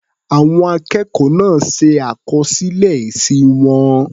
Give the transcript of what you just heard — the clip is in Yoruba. Àwọn akẹ́kọ̀ọ́ náà ṣe àkọsílẹ̀ èsì wọn.